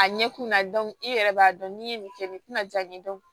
A ɲɛkunna i yɛrɛ b'a dɔn n'i ye nin kɛ nin tina jaabi dɔn